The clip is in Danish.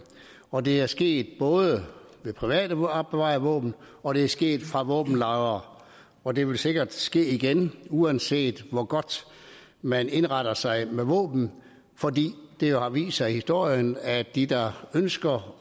og det er sket både med privat opbevarede våben og det er sket med våben fra våbenlagre og det vil sikkert ske igen uanset hvor godt man indretter sig med våbnene fordi det jo har vist sig i historien at de der ønsker